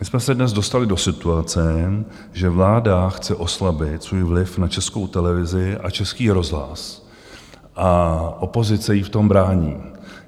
My jsme se dnes dostali do situace, že vláda chce oslabit svůj vliv na Českou televizi a Český rozhlas a opozice jí v tom brání.